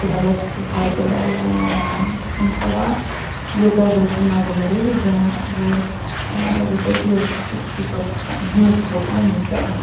когда младшая сестра сдавала аа на права её тоже очень многому мурыжили вот аа в итоге такие типа да ну заплати нам и все